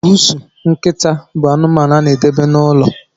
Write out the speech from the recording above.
Bụụsụ, nkịta bụ anụmanụ a na edebe n'ụlọ